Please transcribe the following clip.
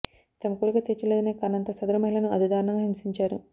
తమ కోరిక తీర్చలేదనే కారణంతో సదరు మహిళను అతి దారుణంగా హింసించారు